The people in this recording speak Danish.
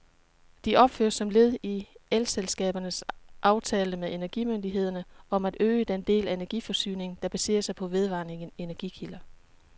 De opføres som led i elselskabernes aftale med energimyndighederne om at øge den del af energiforsyningen, der baserer sig på vedvarende energikilder.